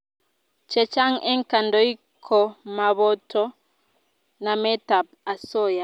Chechang' eng' kandoik ko maboto namet ab asoya